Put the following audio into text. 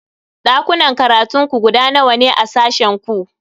Dakunan karatun ku guda nawa ne a sashen ku?